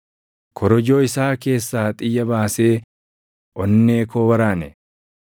Korojoo isaa keessaa xiyya baasee onnee koo waraane.